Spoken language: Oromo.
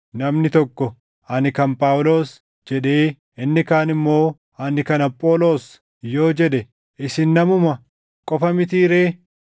Namni tokko, “Ani kan Phaawulos” jedhee, inni kaan immoo, “Ani kan Apholoos” yoo jedhe isin namuma qofa mitii ree?